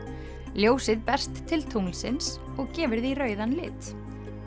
ljósið berst til tunglsins og gefur því rauðan lit